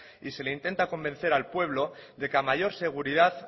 y se le intenta convencer al pueblo de que a mayor seguridad